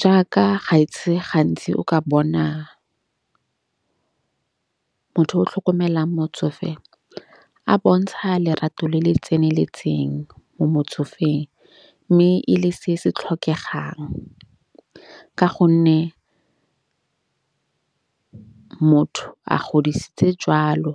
Jaaka ga ese gantsi o ka bona motho o tlhokomelang motsofe, a bontsha lerato le le tseneletseng mo motsofeng. Mme e le se se tlhokegang ka gonne motho a godisitse jwalo.